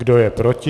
Kdo je proti?